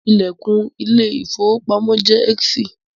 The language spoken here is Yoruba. The door of the bank is heacy